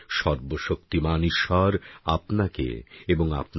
সর্বশক্তিমান ঈশ্বর আপনাকে এবং আপনার